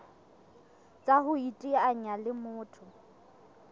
tsa ho iteanya le motho